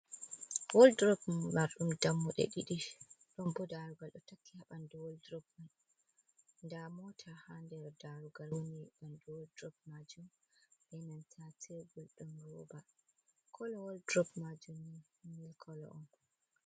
Woldrob marɗum dammuɗe ɗiɗi. Ɗon bo darugal do takki ha ɓandu woldrob man. Nda mota ha nder darugal woni ɓandu woldrob majum be nanta tebur ɗum roba. Kolo woldrob majum milik kolo on.